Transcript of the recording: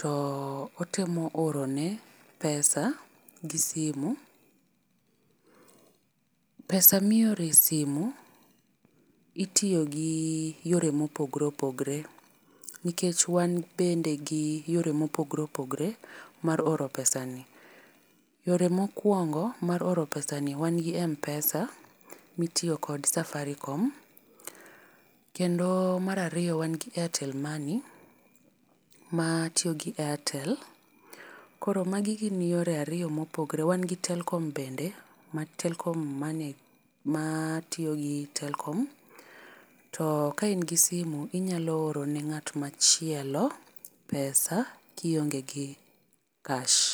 To otemo oro ne pesa gi simu. pesa ma ioro e simu itiyo gi yore ma opogore opogore nikech wan bende gi yore mopogore opogore mar oro pesani. Yore ma okwongo mar oro pesa ni wan gi mpesa ma itiyo kod safaricom. Kendo mar ariyo wan gi airtel money ma tiyo gi airtel. Koro magi gin yore ariyo ma opogore. Wan gi telkom bende, ma telkom money matiyo gi Telkom. To ka in gi simu inyalo oro ne ng'at machielo pesa ka ionge gi cash.